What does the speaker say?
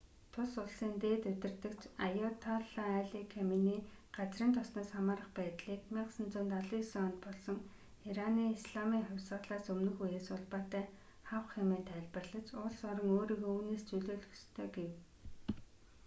тус улсын дээд удирдагч аяатолла али каменей газрын тосноос хамаарах байдлыг 1979 онд болсон ираны исламын хувьсгалаас өмнөх үеэс улбаатай хавх хэмээн тайлбарлаж улс орон өөрийгөө үүнээс чөлөөлөх ёстой гэв